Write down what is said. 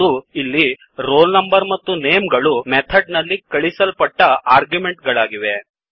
ಮತ್ತು ಇಲ್ಲಿ roll number ಮತ್ತು ನೇಮ್ ಗಳು ಮೆಥಡ್ ನಲ್ಲಿ ಕಳಿಸಲ್ಪಟ್ಟ ಆರ್ಗ್ಯುಮೆಂಟ್ ಗಳಾಗಿವೆ